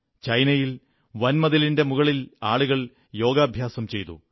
ചൈനയിൽ വൻമതിലിന്റെ മുകളിൽ ആളുകൾ യോഗ ചെയ്തു